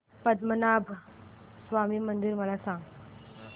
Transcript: पद्मनाभ स्वामी मंदिर मला सांग